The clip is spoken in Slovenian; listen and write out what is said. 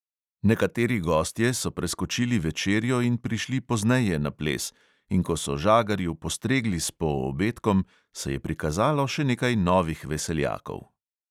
Nekateri gostje so preskočili večerjo in prišli pozneje na ples, in ko so žagarju postregli s poobedkom, se je prikazalo še nekaj novih veseljakov.